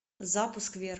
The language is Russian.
запуск